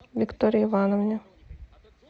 виктории ивановне